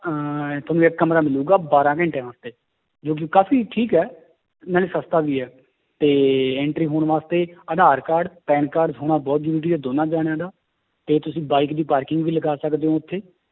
ਅਹ ਤੁਹਾਨੂੰ ਇੱਕ ਕਮਰਾ ਮਿਲੇਗਾ ਬਾਰਾਂ ਘੰਟਿਆਂ ਵਾਸਤੇ ਜੋ ਕਿ ਕਾਫ਼ੀ ਠੀਕ ਹੈ, ਨਾਲੇ ਸਸਤਾ ਵੀ ਹੈ, ਤੇ entry ਹੋਣ ਵਾਸਤੇ ਆਧਾਰ card PAN card ਹੋਣਾ ਬਹੁਤ ਜ਼ਰੂਰੀ ਹੈ ਦੋਨਾਂ ਜਾਣਿਆਂ ਦਾ, ਤੇ ਤੁਸੀਂ bike ਦੀ parking ਵੀ ਲਗਾ ਸਕਦੇ ਹੋ ਉੱਥੇ